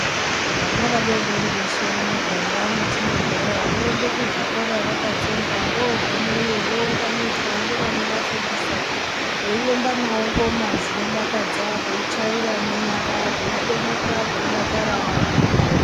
Vana vadodori veshe mumuganga mwetinogara voende kuzvikora vakatsonga vogumeyo vounganidzwa ngevanovafundisa veiemba navo ngoma dzinodakadza veichaira ngenyara veitomuka veidakara vari muzvikora.